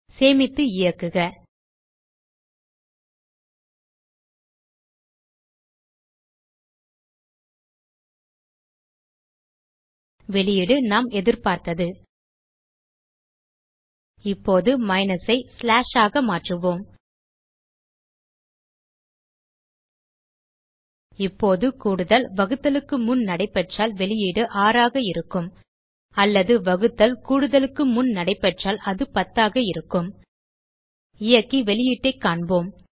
சேமித்து இயக்குக வெளியீடு நாம் எதிர்பார்த்தது இப்போது மைனஸ் ஐ ஸ்லாஷ் ஆக மாற்றுவோம் இப்போது கூடுதல் வகுத்தலுக்கு முன் நடைப்பெற்றால் வெளியீடு 6 ஆக இருக்கும் அல்லது வகுத்தல் கூடுதலுக்கு முன் நடைப்பெற்றால் அது 10 ஆக இருக்கும் இயக்கி வெளியீட்டைக் காண்போம்